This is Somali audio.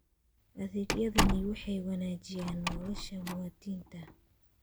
Adeegyadani waxay wanaajiyaan nolosha muwaadiniinta.